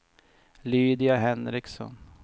Lydia Henriksson